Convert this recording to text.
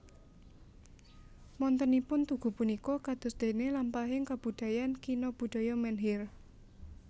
Wontenipun tugu punika kadosdene lampahing kabudayan kina budaya menhir